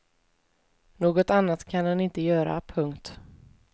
Något annat kan den inte göra. punkt